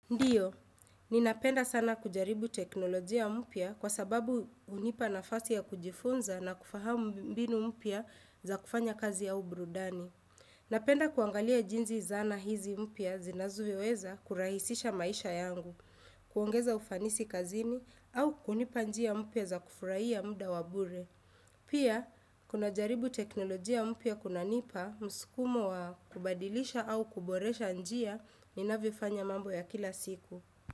Ndiyo, ninapenda sana kujaribu teknolojia mpya kwa sababu hunipa nafasi ya kujifunza na kufahamu mbinu mpya za kufanya kazi au burudani. Napenda kuangalia jinzi zana hizi mpya zinazoweza kurahisisha maisha yangu, kuongeza ufanisi kazini au kunipa njia mpya za kufuraia muda wa bure. Pia, kuna jaribu teknolojia mpya kunanipa, mskumo wa kubadilisha au kuboresha njia, ninavyofanya mambo ya kila siku.